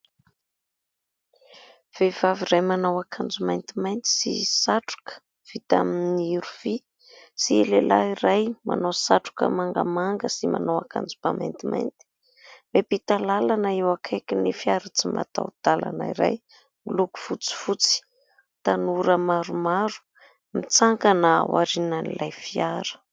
Vehivavy iray manao akanjo maintimainty sy satroka vita amin'ny rofia sy lehilahy iray manao satroka mangamanga sy manao akanjobà maintimainty miampita làlana eo akaikin'ny fiara tsy mataho-dàlana iray miloko fotsifotsy, tanora maromaro mitsangana aorian'ilay fiara.